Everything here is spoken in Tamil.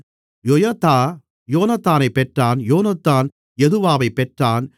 யொயதா யோனத்தானைப் பெற்றான் யோனத்தான் யதுவாவைப் பெற்றான்